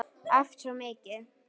Æft svo mikið.